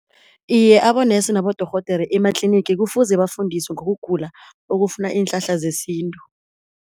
Iye abonesi nabodorhodere ematlinigi kufuze bafundisiwe ngokugula okufuna iinhlahla zesintu.